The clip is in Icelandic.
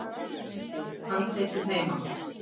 Myndir: Handritin heima.